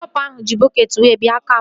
Ndị kọpa ahụ ji bọketị wee bịa kampụ